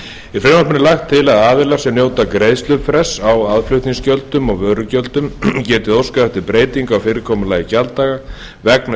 frumvarpinu er lagt til að aðilar sem njóta greiðslufrests á aðflutningsgjöldum og vörugjöldum geti óskað eftir breytingu á fyrirkomulagi gjalddaga vegna